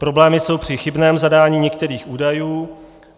Problémy jsou při chybném zadání některých údajů.